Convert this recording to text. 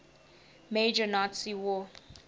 major nazi war